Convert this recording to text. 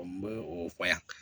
N bɛ o fɔ yan